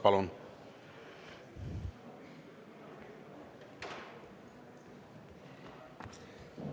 Palun!